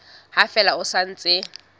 ha fela ho sa ntse